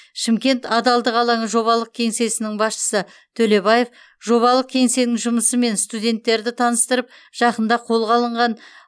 шымкент адалдық алаңы жобалық кеңсесінің басшысы төлебаев жобалық кеңсенің жұмысымен студенттерді таныстырып жақында қолға алынған